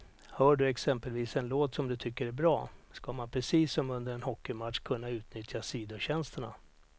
Hör du exempelvis en låt som du tycker är bra, ska man precis som under en ishockeymatch kunna utnyttja sidotjänsterna.